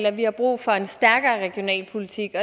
at vi har brug for en stærkere regionalpolitik